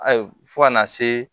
Ayi fɔ ka na se